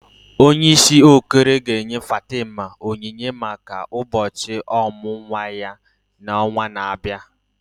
Onyeisi Okoro ga-enye Fatima onyinye maka ụbọchị ọmụmụ nwa ya n'ọnwa na-abịa.